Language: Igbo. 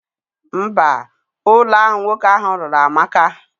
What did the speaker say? Mba, Ulo ahu nwoke ahu lulu amaka.